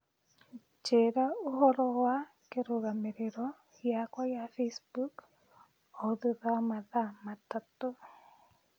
Njĩra ũhoro wa kĩrũgamĩrĩro gĩakwa gia Facebook o thutha wa mathaa matatũ